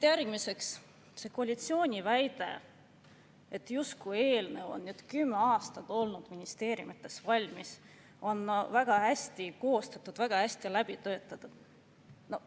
Järgmiseks see koalitsiooni väide, justkui eelnõu oleks kümme aastat olnud ministeeriumites valmis ja oleks väga hästi koostatud, väga hästi läbi töötatud.